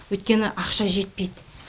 өйткені ақша жетпейді